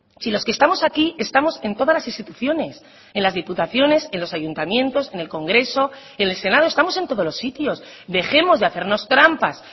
si los que estamos aquí estamos en todas las instituciones en las diputaciones en los ayuntamientos en el congreso en el senado estamos en todos los sitios dejemos de hacernos trampas